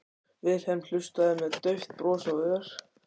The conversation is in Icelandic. Vilhelm hlustaði með dauft bros á vör.